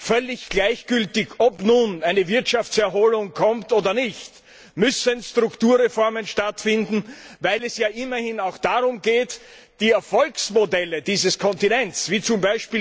Völlig gleichgültig, ob nun eine Wirtschaftserholung kommt oder nicht, müssen Strukturreformen stattfinden, weil es immerhin auch darum geht, die Erfolgsmodelle dieses Kontinents wie z.